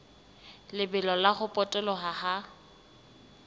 lebelo la ho potoloha ha